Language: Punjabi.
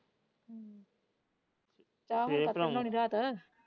ਫ਼ੇਰ ਭਰਾ ਆਊਂਗਾ।